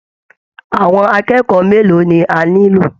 Àwọn akẹ́kọ̀ọ́ mélòó ni a nílò!